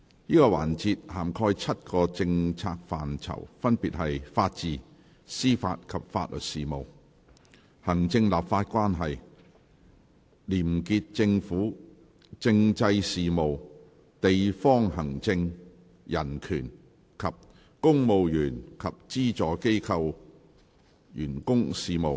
這個環節涵蓋7個政策範疇，分別是：法治、司法及法律事務；行政立法關係；廉潔政府；政制事務；地方行政；人權；及公務員及資助機構員工事務。